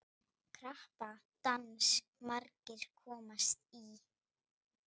Krappan dans margir komast í.